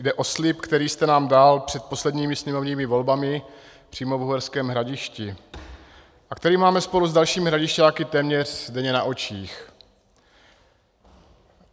Jde o slib, který jste nám dal před posledními sněmovními volbami přímo v Uherském Hradišti a který máme spolu s dalšími Hradišťáky téměř denně na očích.